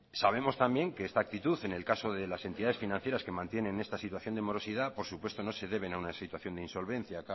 sabemos también que esta actitud en el caso de las entidades financieras que mantienen esta situación de morosidad por supuesto no se deben a una situación deinsolvencia